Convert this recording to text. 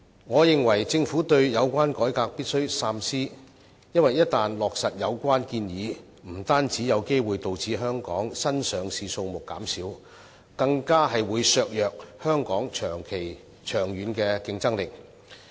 我認為政府對有關改革必須三思，因為一但落實有關建議，不單有機會導致香港新上市公司的數目減少，更會削弱香港長遠的競爭力。